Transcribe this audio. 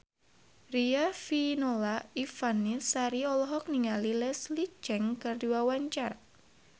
Riafinola Ifani Sari olohok ningali Leslie Cheung keur diwawancara